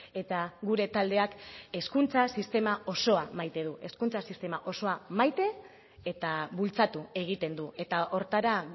eta gure taldeak hezkuntza sistema osoa maite du maite eta bultzatu egiten du eta hortara